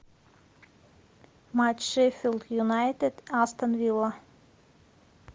матч шеффилд юнайтед астон вилла